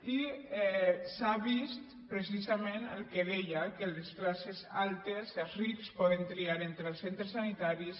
i s’ha vist precisament el que deia que les classes altes els rics poden triar entre els centres sanitaris